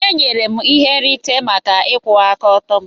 E nyere m ihe nrite maka ịkwụwa aka ọtọ m.